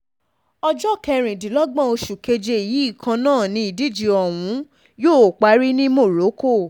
ọjọ́ kẹrìndínlọ́gbọ̀n oṣù keje yìí kan náà ni ìdíje ọ̀hún yóò parí ní morocco